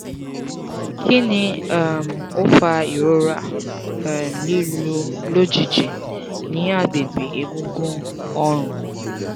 kini um o fa irora um lilu lojiji ni agbegbe egungun orun?